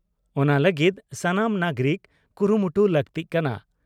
ᱚᱱᱟ ᱞᱟᱹᱜᱤᱫ ᱥᱟᱱᱟᱢ ᱱᱟᱜᱽᱨᱤᱠ ᱠᱩᱨᱩᱢᱩᱴᱩ ᱞᱟᱹᱠᱛᱤᱜ ᱠᱟᱱᱟ ᱾